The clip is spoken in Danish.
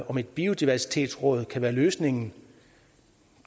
om et biodiversitetsråd kan være løsningen